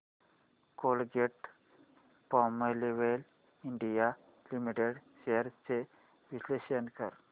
Colgate Palmolive India limited shares चे विश्लेषण कर